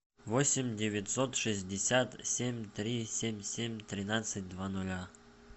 восемь девятьсот шестьдесят семь три семь семь тринадцать два ноля